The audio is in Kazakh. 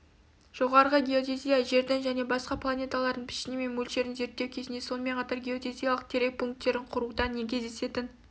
жоғарғы геодезия жердің және басқа планеталардың пішіні мен мөлшерін зерттеу кезінде сонымен қатар геодезиялық терек пунктерін құруда кездесетін